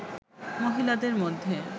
মহিলাদের মধ্যে